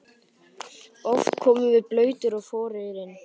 Oft komum við blautir og forugir inn.